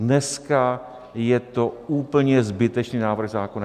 Dneska je to úplně zbytečný návrh zákona!